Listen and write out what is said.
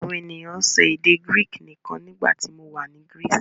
Àwọn ènìyàn ń sọ èdè Greek nìkan nígbà tí mo wà ní Greece.